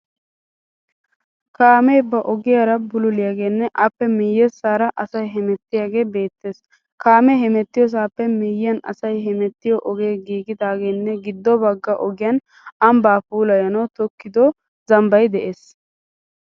Kaamee ba ogiyaara bululiyaagenne appe miyyessaara asay hemettiyaagee beettees. kaame hemettiyosaappe miyyiyaan asayi hemettiyo ogee giigidaageenne giddo bagga ogiyan amibbaa puulayanawu tokkido zamibbay de'ees.